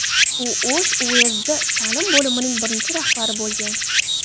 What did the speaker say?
U O‘sh uyezdi ta’lim bo‘limining birinchi rahbari bo‘lgan.